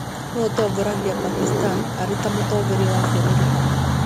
Nũũ ũtongoragia Pakistan arĩ ta Mũtongoria wa bũrũri?